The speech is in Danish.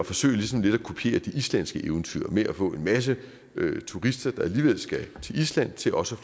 forsøge ligesom lidt at kopiere det islandske eventyr og få en masse turister der alligevel skal til island til også